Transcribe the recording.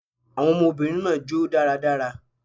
Awon obìnrin naa jo daradara